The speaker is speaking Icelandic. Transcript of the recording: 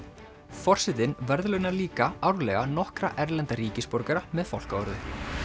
forsetinn verðlaunar líka árlega nokkra erlenda ríkisborgara með fálkaorðu